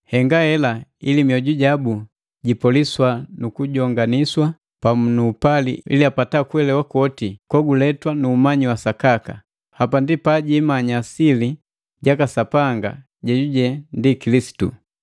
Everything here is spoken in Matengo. Henga hela ili mioju jabu jipoliswa nu kujonganiswa pamu nu upali ili apata kuelewa kwoti goguletwa nuumanyi wa sakaka. Hapa ndi pabajimanya sili jaka Sapanga jejuje ndi Kilisitu.